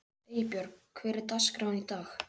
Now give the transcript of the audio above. Eybjörg, hvernig er dagskráin í dag?